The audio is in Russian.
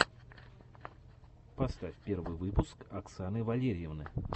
поставь первый выпуск оксаны валерьевны